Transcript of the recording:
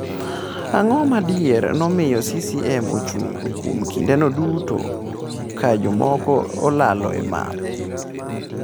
Ang’o ma adier momiyo CCM ochung’ kuom kindeno duto ka jomoko olalo e map?